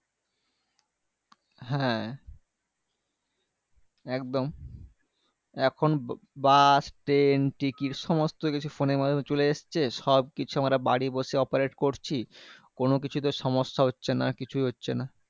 হ্যাঁ একদম এখন bus train ticket সবকিছু phone এর চলে এসছে সবকিছু আমরা বাড়ি বসে operate করছি কোনকিছুতে সমস্যা হচ্ছে না কিছু হচ্ছেনা